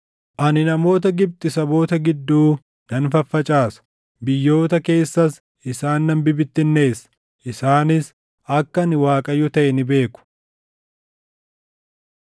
Ani namoota Gibxi saboota gidduu nan faffacaasa; biyyoota keessas isaan nan bibittinneessa. Isaanis akka ani Waaqayyo taʼe ni beeku.”